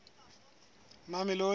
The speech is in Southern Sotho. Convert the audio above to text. mamelodi